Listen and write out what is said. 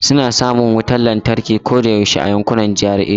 Suna samun wutar lantarki koyaushe a yankunan GRA.